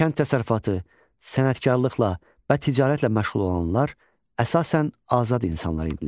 Kənd təsərrüfatı, sənətkarlıqla və ticarətlə məşğul olanlar əsasən azad insanlar idilər.